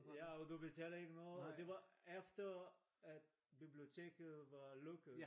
Ja og du betaler ikke noget og det var efter at biblioteket var lukket